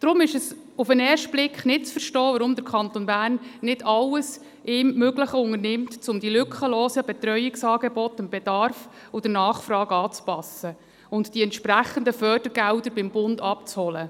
Deshalb ist es auf den ersten Blick nicht zu verstehen, warum der Kanton Bern nicht alles ihm Mögliche unternimmt, um die lückenlosen Betreuungsangebote dem Bedarf und der Nachfrage anzupassen und die entsprechenden Fördergelder beim Bund abzuholen.